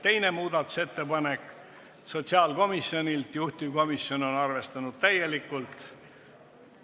Teine muudatusettepanek on sotsiaalkomisjonilt, juhtivkomisjon on arvestanud täielikult.